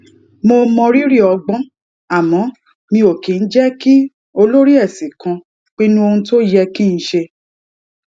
mo mọrírì ọgbón àmó mi ò kì í jé kí olórí èsìn kan pinnu ohun tó yẹ kí n ṣe